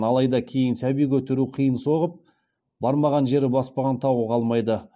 алайда кейін сәби көтеру қиын соғып бармаған жері баспаған тауы қалмайды